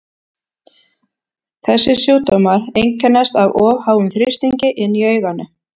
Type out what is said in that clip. þessir sjúkdómar einkennast af of háum þrýstingi inni í auganu